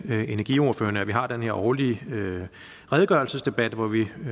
energiordførerne at vi har den her årlige redegørelsesdebat hvor vi